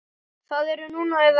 Það er núna eða ekki.